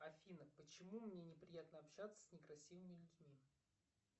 афина почему мне неприятно общаться с некрасивыми людьми